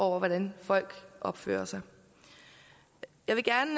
hvordan folk opfører sig jeg vil gerne